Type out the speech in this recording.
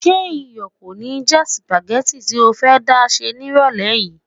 Ṣé iyọ̀ kò ní já sípágì tí o fẹ́ dá sè nírọ̀lẹ́ yìí?